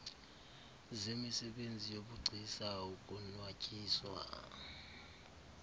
zemisebenzi yobugcisa ukonwatyiswa